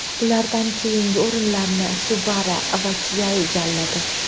Ulardan keyingi o‘rinlarni Subaru va Kia egalladi.